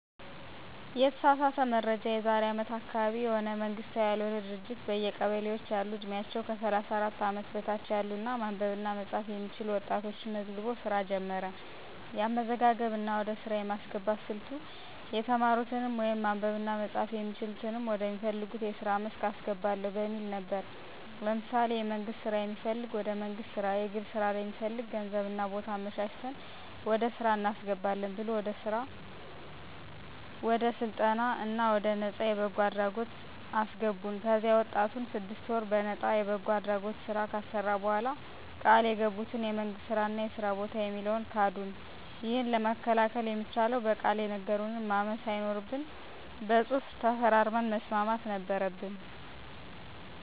የተሳሳተ መረጃ የዛሬ አመት አካባቢ የሆነ መንግስታዊ ያልሆነ ድርጅት በየቀበሌዎች ያሉ ዕድሜያቸው ከ 34 አመት በታች ያሉ እና ማንበብ እና መፃፍ የሚችሉ ወጣቶችን መዝግቦ ሥራ ጀመረ። የአመዘጋገብ እና ወደ ሥራ የማስገባት ሥልቱ የተማሩትንም ወይም ማንበብ እና መጻፍ የሚችሉትንም ወደ ሚፈልጉት የስራ መስክ አስገባለሁ በሚል ነበር። ለምሳሌ የመንግስት ስራ የሚፈልግ ወደ መንግስት ስራ፣ የግል ስራ ለሚፈልግ ገንዘብ እና ቦታ አመቻችተን ወደ ስራ እናስገባለን ብሎ ወደ ስራ ወደ ስልጠና እና ወደ ነፃ የበጎ አድራጎት አገልግለት አሰገቡን። ከዚያ ወጣቱን ስድስት ወር በነጣ የበጎ አድራጎት ስራ ካሰራ በኋላ ቃል የገቡትን የመንግስት ስራ እና የስራ በታ የሚለውን ካዱን። ይህንን መከላከል የሚቻለው በቃል የነገሩንን ማመን ሳይኖርብን በፅሁፍ ተፈራርመን መስማት ነበረበን።